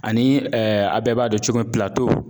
Ani a bɛɛ b'a dɔn cogo min pilato.